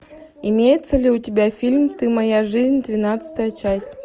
имеется ли у тебя фильм ты моя жизнь двенадцатая часть